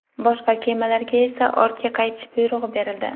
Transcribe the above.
Boshqa kemalarga esa ortga qaytish buyrug‘i berildi.